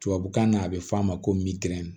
Tubabukan na a bɛ f'a ma ko